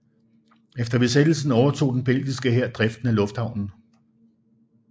Efter besættelsen overtog den belgiske hær driften af lufthavnen